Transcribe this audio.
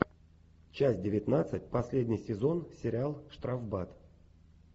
часть девятнадцать последний сезон сериал штрафбат